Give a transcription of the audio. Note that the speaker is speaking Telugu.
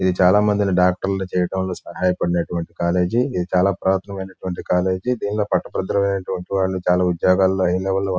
ఇది చాలా మంది డాక్టర్ లు సహాయపడినటువంటి కాలేజీ . ఇది చాలా పురాతనమైన కాలేజీ . దేంట్లో వంటి వాళ్ళు చాలా ఉద్యోగాల్లో హై లెవెల్ లో--